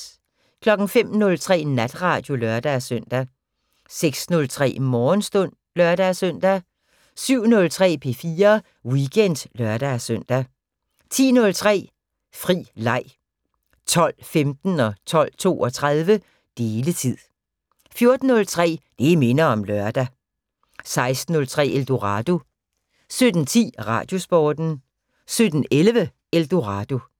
05:03: Natradio (lør-søn) 06:03: Morgenstund (lør-søn) 07:03: P4 Weekend (lør-søn) 10:03: Fri Leg 12:15: Deletid 12:32: Deletid 14:03: Det minder om lørdag 16:03: Eldorado 17:10: Radiosporten 17:11: Eldorado